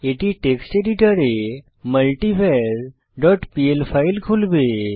এটি টেক্সট এডিটরে মাল্টিভার ডট পিএল ফাইল খুলবে